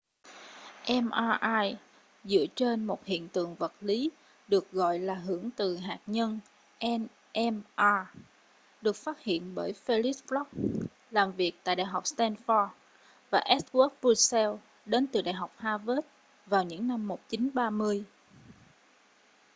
mri dựa trên một hiện tượng vật lý được gọi là hưởng từ hạt nhân nmr được phát hiện bởi felix bloch làm việc tại đại học stanford và edward purcell đến từ đại học harvard vào những năm 1930